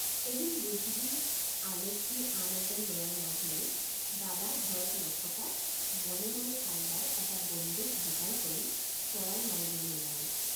এদিন বুদ্ধি আলচি আন এজন লৰাৰ লগ লৈ দাদ৷ ঘৰত নথকাত মনে মনে কাৰোবাৰ এটা বন্দুক যোগাৰ কৰি চৰাই মাৰিবলৈ ওলালোঁ।